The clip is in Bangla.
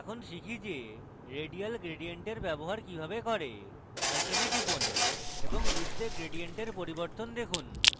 এখন শিখি যে radial gradient এর ব্যবহার কিভাবে করে icon টিপুন এবং বৃত্তে gradient এর পরিবর্তন দেখুন